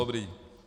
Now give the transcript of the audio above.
Dobrá.